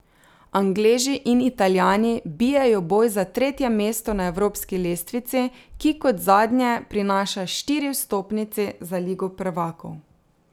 Angleži in Italijani bijejo boj za tretje mesto na evropski lestvici, ki kot zadnje prinaša štiri vstopnice za ligo prvakov.